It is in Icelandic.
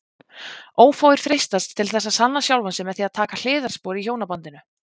Ófáir freistast til þess að sanna sjálfan sig með því að taka hliðarspor í hjónabandinu.